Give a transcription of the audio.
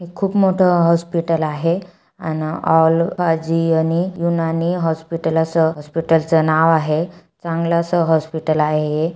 खूप मोठा हॉस्पिटल आहे आणि यूनानी हॉस्पिटल अस हॉस्पिटलच नाव आहे चांगला अस हॉस्पिटल आहे हे.